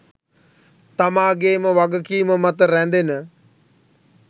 තමාගේම වගකීම මත රැඳෙන